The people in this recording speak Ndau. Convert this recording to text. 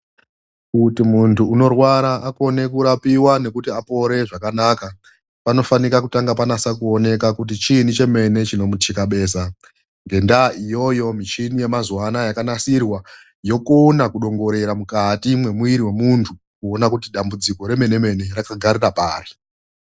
Kuti muntu unorwara akone kurapiwa nekuti apore zvakanaka panofanika kutanga panase kuoneka kuti chii cheme chinomuchikabeza. Ngendaa iyoyo michini yemazuwa anaya yakanasirwa yokona kudongorera mukati memwiri wemuntu yonasa kuona kuti dambudziko remene rakagarira pari.